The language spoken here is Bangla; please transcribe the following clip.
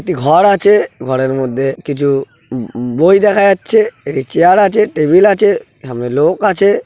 একটি ঘর আছেঘরের মধ্যে কিছুবই দেখা যাচ্ছে চেয়ার আছে টেবিল আছে সামনে লোক আছে।